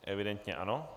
Evidentně ano.